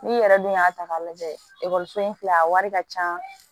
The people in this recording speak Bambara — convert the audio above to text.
N'i yɛrɛ dun y'a ta k'a lajɛ ekɔliso in filɛ a wari ka ca